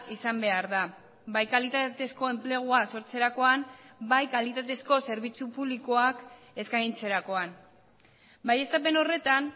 izan behar da bai kalitatezko enplegua sortzerakoan bai kalitatezko zerbitzu publikoak eskaintzerakoan baieztapen horretan